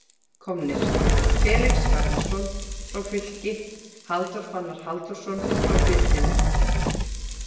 Komnir: Felix Hjálmarsson frá Fylki Halldór Fannar Halldórsson frá Birninum